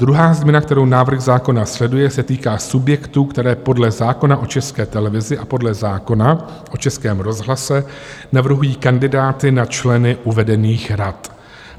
Druhá změna, kterou návrh zákona sleduje, se týká subjektů, které podle zákona o České televizi a podle zákona o Českém rozhlase navrhují kandidáty na členy uvedených rad.